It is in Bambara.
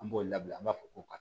An b'o labila an b'a fɔ ko ka